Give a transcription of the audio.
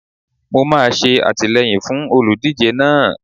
Mo máa ṣe àtìleyìn fún olùdíje náà.